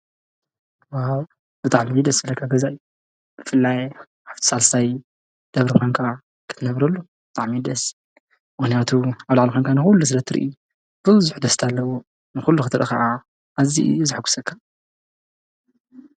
ብጣዕሚ ደስ ዝብለካ ገዛ እዩ ብፍላይ ኣብቲ ሳልሳይ ደብሪ ኮይንካ ክትነብረሉ ብጣዕሚ'የ ደስ ዝብል ምክንያቱ ኣብ ላዕሊ ኮንካ ንኩሉ ስለ ትርእይ ብዙሕ ደስታ ኣለዎ ንኩሉ ክትርኢ ከዓ ኣዝዩ እዩ ዘሐጉሰካ።